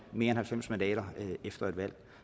mere end halvfems mandater efter et valg